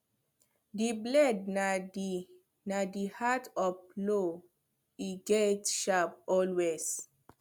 the blade na the heart of plow e gatz sharp always